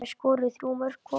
Þær skoruðu þrjú mörk hvor.